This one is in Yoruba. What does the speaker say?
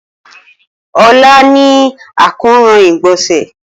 Ola ni akoran igbonse.